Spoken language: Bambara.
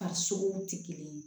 A suguw tɛ kelen ye